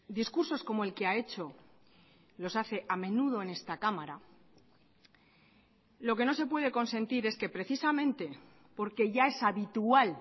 discursos como el que ha hecho los hace a menudo en esta cámara lo que no se puede consentir es que precisamente porque ya es habitual